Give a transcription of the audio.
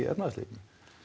efnahagslífinu